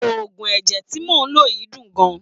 Oògùn ẹ̀jẹ̀ tí mò ḿ lò yìí dùn gan-an.